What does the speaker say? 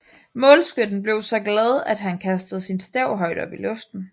Målskytten blev så glad att han kastede sin stav højt op i luften